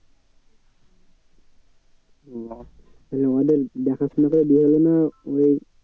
ও ওদের দেখাশোনা করে বিয়ে হলো না ওই